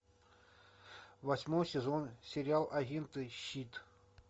восьмой сезон сериал агенты щит